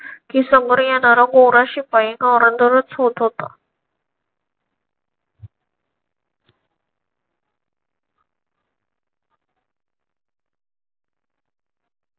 की समोर येणारा गोरा शिपाई धोरंदरच होत होता.